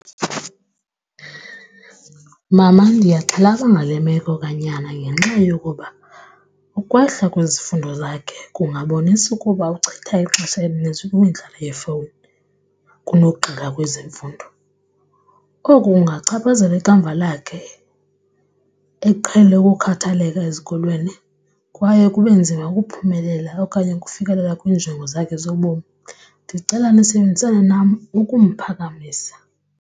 Mama, ndiyaxhalaba ngale meko kanyana ngenxa yokuba ukwehla kwezifundo zakhe kungaboniwa ukuba uchitha ixesha elininzi kwimidlalo yefowuni kunogxila kwezemfundo. Oku kungachaphazela ikamva lakhe eqhele ukukhathaleka ezikolweni kwaye kube nzima ukuphumelela okanye ukufikelela kwiinjongo zakhe zobomi. Ndicela nisebenzisane nam ukumphakamisa.